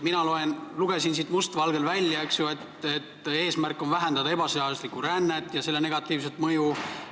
Mina lugesin siit must valgel välja, et eesmärk on vähendada ebaseaduslikku rännet ja selle negatiivset mõju.